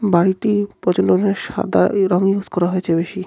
বাড়িটি প্রচণ্ড পরিমাণে সাদা রঙ ইউজ করা হয়েছে বেশি।